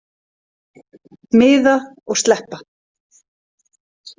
Miða og sleppa.